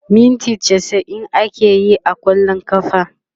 minti chasa'in akeyi a kwallon kafa